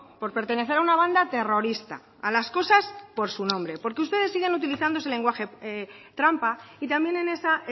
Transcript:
por pertenecer a una banda terrorista a las cosas por su nombre porque ustedes siguen utilizando ese lenguaje trampa y también en esa